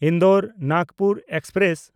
ᱤᱱᱫᱳᱨ–ᱱᱟᱜᱽᱯᱩᱨ express